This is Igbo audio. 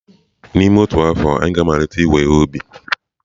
N'ime otu afọ, anyị ga-amalite iwe ihe ubi.